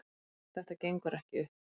Þetta gengur ekki upp